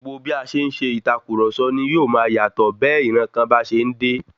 Gbogbo bí a ṣe ń ṣe ìtàkurọ̀sọ ní yóò máa yatọ bẹ ìran bá ṣe ń dé.